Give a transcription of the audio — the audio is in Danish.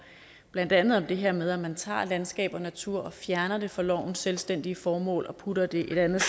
blandt andet om det her med at man tager landskab og natur og fjerner det fra lovens selvstændige formål og putter det et andet